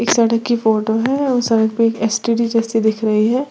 सड़क की फोटो है और सड़क पे एक एस_टी_डी जैसी दिख रही है।